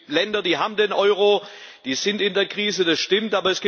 Es gibt Länder, die haben den Euro, die sind in der Krise, das stimmt.